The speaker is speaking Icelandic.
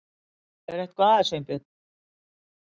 Er eitthvað að, Sveinbjörn?